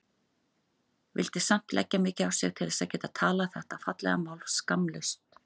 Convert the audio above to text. Vildi samt leggja mikið á sig til þess að geta talað þetta fallega mál skammlaust.